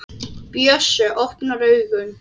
Bjössi opnar augun.